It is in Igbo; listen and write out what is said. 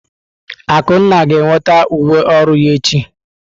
Akunna ga-enweta uwe ọrụ ya echi.